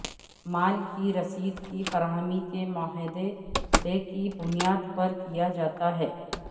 مال کی رسید کی فراہمی کے معاہدے کی بنیاد پر کیا جاتا ہے